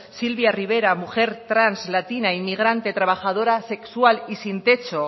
sylvia rivera mujer trans latina inmigrante trabajadora sexual y sin techo